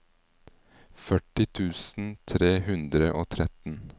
førti tusen tre hundre og tretten